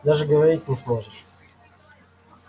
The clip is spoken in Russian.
даже говорить не сможешь